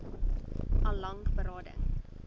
al lank berading